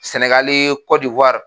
Sɛnɛgali Kɔdiwari